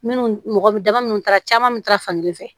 Minnu mɔgɔ daba minnu taara caman bɛ taa fan kelen fɛ